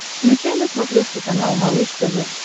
включай на смотрешке канал малыш тв